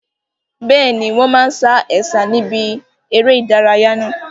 Bẹ́ẹ̀ni, wọn máa sa Ẹ̀sà níbi eré ìdárayá náà.